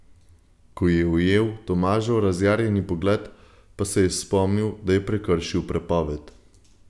Ko je ujel Tomažev razjarjeni pogled, pa se je spomnil, da je prekršil prepoved.